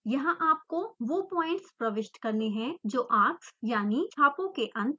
यहाँ आपको वो पॉइंट्स प्रविष्ट करने हैं जो आर्क्स यानि छापों के अंत पॉइंट्स हैं